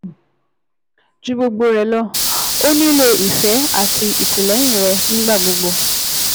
Ju gbogbo rẹ̀ lọ, ó nílò ìfẹ́ àti ìtìlẹ́yìn rẹ nígbà gbogbo